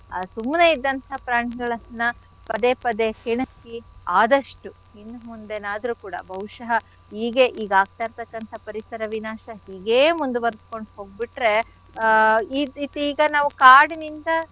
ಆ ಸುಮ್ನೆ ಇದ್ದಂಥ ಪ್ರಾಣಿಗಳನ್ನ ಪದೇ ಪದೇ ಕೆಣಕಿ ಆದಷ್ಟು ಇನ್ ಮುಂದೆನಾದ್ರೂ ಕೂಡ ಬಹುಶಃ ಹೀಗೆ ಈಗ್ ಆಗ್ತಾ ಇರ್ತಕ್ಕಂಥ ಪರಿಸರ ವಿನಾಶ ಹೀಗೆ ಮುಂದುವರಿಸ್ಕೊಂಡು ಹೋಗ್ಬಿಟ್ರೆ ಆ ಈಗ ನಾವು ಕಾಡಿನಿಂದ.